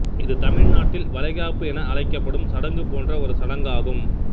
இது தமிழ்நாட்டில் வளைகாப்பு என அழைக்கப்படும் சடங்கு போன்ற ஒரு சடங்காகும்